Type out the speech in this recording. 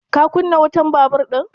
Ka kunna wutan babur ɗin?